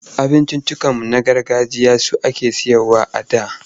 Abinciccikanmu na gargajiya su ake sayarwa a da.